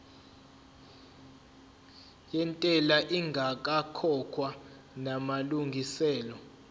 yentela ingakakhokhwa namalungiselo